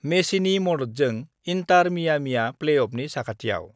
मेसिनि मददजों इन्टार मियामीआ प्लेअफनि साखाथियाव